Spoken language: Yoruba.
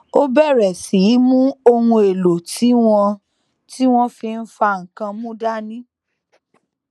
ó bèrè sí í mú ohun èlò tí wọn tí wọn fi n fa nnkan mu dání